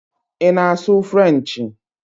Ị na-asụ Frenchi?